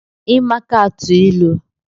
Ị maka atụ ilu?